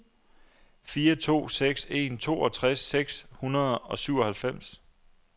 fire to seks en toogtres seks hundrede og syvoghalvfems